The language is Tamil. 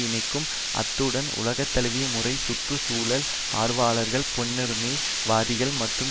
இணைக்கும் அத்துடன் உலகந்தழுவிய முறை சுற்று சூழல் ஆர்வலர்கள் பெண்ணுரிமை வாதிகள் மற்றும்